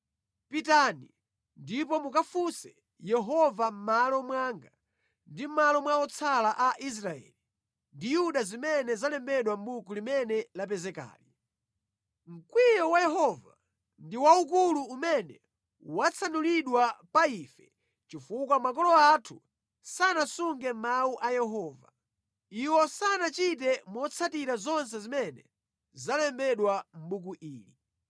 “Pitani ndipo mukafunse Yehova mʼmalo mwanga ndi mʼmalo mwa otsala a Israeli ndi Yuda za zimene zalembedwa mʼbuku limene lapezekali. Mkwiyo wa Yehova ndi waukulu umene watsanulidwa pa ife chifukwa makolo athu sanasunge mawu a Yehova. Iwo sanachite motsatira zonse zimene zalembedwa mʼbuku ili.”